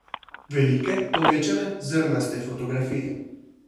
Velike, povečane, zrnaste fotografije.